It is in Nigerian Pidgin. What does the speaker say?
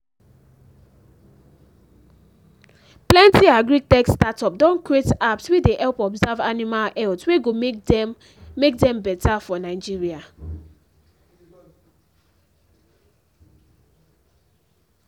plenty agri-tech startup don create apps wey dey help observe animal health we go make dem make dem better for nigeria